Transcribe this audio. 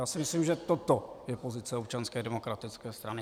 Já si myslím, že toto je pozice Občanské demokratické strany.